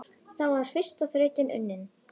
Þá var fyrsta þrautin unnin.